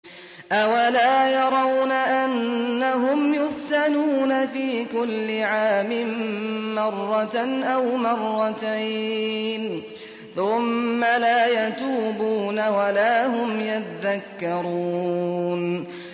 أَوَلَا يَرَوْنَ أَنَّهُمْ يُفْتَنُونَ فِي كُلِّ عَامٍ مَّرَّةً أَوْ مَرَّتَيْنِ ثُمَّ لَا يَتُوبُونَ وَلَا هُمْ يَذَّكَّرُونَ